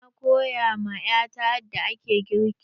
Na koya ma 'ya ta yadda ake girki.